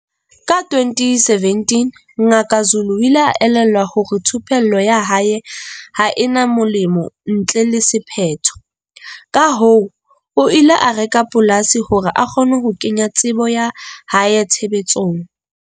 Ka 2017, Ngaka Zulu o ile a elellwa hore thupello ya hae ha e na moelelo ntle le sephetho, kahoo o ile a reka polasi hore a kgone ho kenya tsebo ya hae tshebetsong.